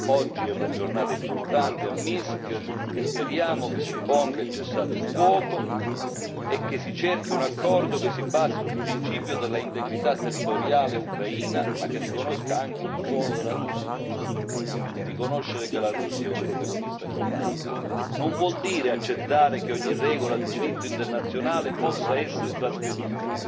Oggi è una giornata importante a Minsk e speriamo che s'imponga il cessate il fuoco e che si cerchi un accordo che si basi sul principio dell'integrità territoriale ucraina, ma che riconosca anche il ruolo della Russia. Riconoscere che la Russia è un protagonista globale non vuol dire accettare che ogni regola di diritto internazionale possa essere trasgredita.